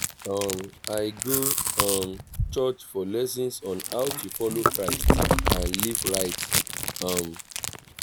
um i go um church for lessons on how to follow christ and live right. um